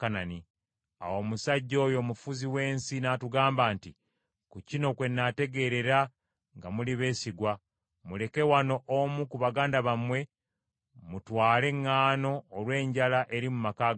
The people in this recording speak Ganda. “Awo omusajja oyo omufuzi w’ensi n’atugamba nti, ‘Ku kino kwennaategeerera nga muli beesigwa: muleke wano omu ku baganda bammwe, mutwale eŋŋaano olw’enjala eri mu maka gammwe.